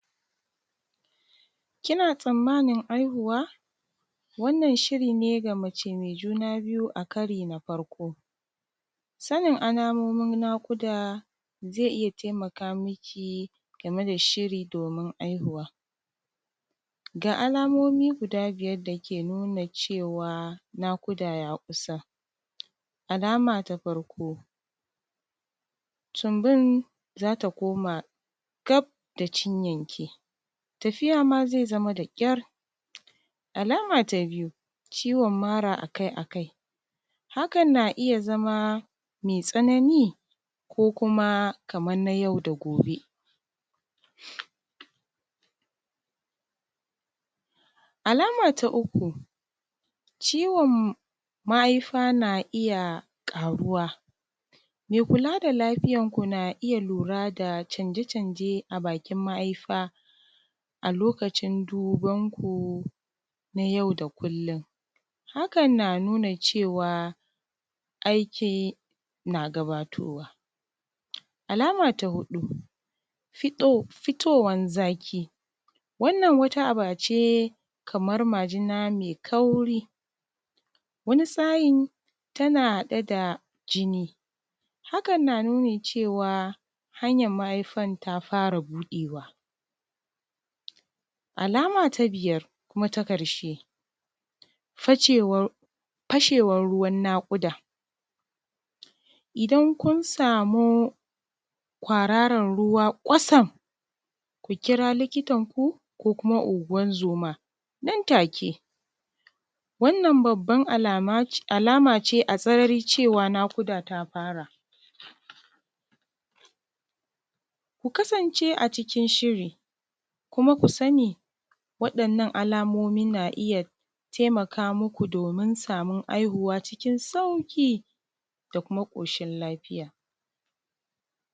Kina tsammanin haihuwa, wannan shiri ne ga mace mai juna biyu a karo na farko. Sanin alamomin naƙudazai iya taimaka miki game da shiri domin haihuwa. Ga alamomi guda biyar da ke nuna cewa naƙuda ya kusa. Alama ta farko, tumbin za ta koma gab da cinyanki, tafiya ma zai zama da ƙyar. Alama ta biyu, ciwon mara akai akai. Hakan na iya zama mai tsanani ko kuma kamar nay au da gobe. Alama ta uku, ciwon mahaifa na iya ƙaruwa, mai kula da lafiyanku na iya lura da canje canje a bakin mahaifa a lokacin duban kun a yau da kullum. Hakan na nuna cewa aiki na gabatowa. Alama ta huɗu, fitowar zaƙi, wannan wata aba ce kamar majina mai kauri, wani sa’in tana haɗe da jini, hakan na nuni cewa hanyar mahaifar ta fara buɗewa. Alama ta biyar kuma ta ƙarshe, fashewar ruwan naƙuda, idan kun sama kwararan ruwa kwatsam, ku kira likitan ku ko kuma unguwanzoma nan take. Wannan babbar alama ce a sarari cewa naƙuda ta fara. Ku kasance a cikin shiri, kuma ku sani waɗannan alamomi na iya taimaka muku domin samun haihuwa cikin sauƙida kuma ƙoshin lafiya.